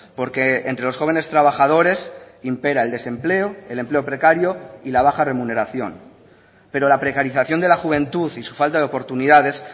porque entre los jóvenes trabajadores impera el desempleo el empleo precario y la baja remuneración pero la precarización de la juventud y su falta de oportunidades